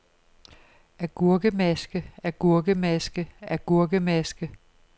agurkemaske agurkemaske agurkemaske